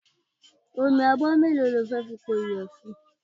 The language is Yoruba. Omi abọ́ mélòó ni o fẹ́ fi po ìyẹ̀fun?